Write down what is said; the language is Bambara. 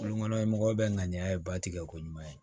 Kulon kɔnɔ mɔgɔw bɛ ŋaniya ye ba tigɛ ko ɲuman ye